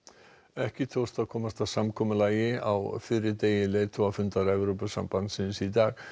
ekki tókst að komast að samkomulagi á fyrri hluta leiðtogafundar Evrópusambandsins í dag